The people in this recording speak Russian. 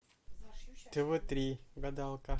тв три гадалка